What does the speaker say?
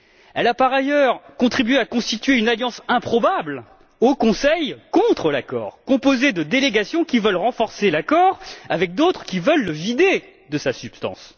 Elle a par ailleurs contribué à constituer au Conseil une alliance improbable contre l'accord, composée de délégations qui veulent renforcer l'accord et d'autres qui veulent le vider de sa substance.